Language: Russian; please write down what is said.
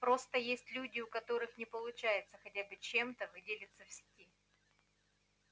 просто есть люди у которых не получается хотя бы чем-то выделиться в сети